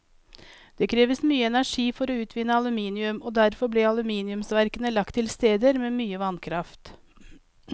Det kreves mye energi for å utvinne aluminium, og derfor ble aluminiumsverkene lagt til steder med mye vannkraft.